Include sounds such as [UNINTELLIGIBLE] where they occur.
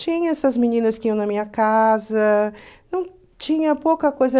Tinha essas meninas que iam na minha casa, [UNINTELLIGIBLE] tinha pouca coisa.